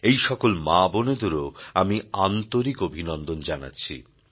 এই সকল মা বোনেদেরও আমি আন্তরিক অভিনন্দন জানাচ্ছি